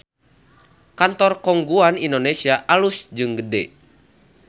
Kantor Khong Guan Indonesia alus jeung gede